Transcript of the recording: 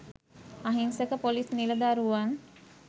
අහිංසක පොලිස් නිලදරුවන්